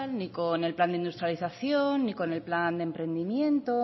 ni con el plan de industrialización ni con el plan de emprendimiento